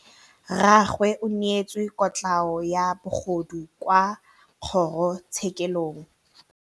Rragwe o neetswe kotlhaô ya bogodu kwa kgoro tshêkêlông.